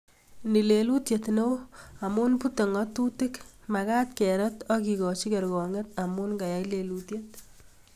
Ni lelutiet neo amu butei ngatutik magat kerat ak kekoch kergongyet amu kayai lelutiet